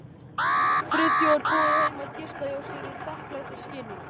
Friðþjófur boðið þeim að gista hjá sér í þakklætisskyni.